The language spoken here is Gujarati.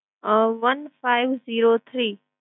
અમ one five zero three